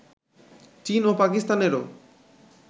চীন ও পাকিস্তানেরও